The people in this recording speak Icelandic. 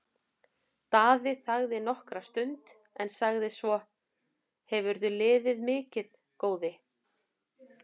Daði þagði nokkra stund en sagði svo:-Hefurðu liðið mikið, góði?